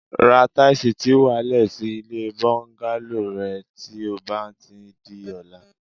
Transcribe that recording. Ra táìsì tí wà á le̩ sí ilé bó̩ńgálò re̩ ti ó bá ti di o̩la